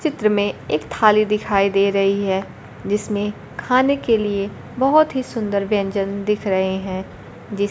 चित्र में एक थाली दिखाई दे रही है जिसमें खाने के लिए बहुत ही सुंदर व्यंजन दिख रहे हैं जिस--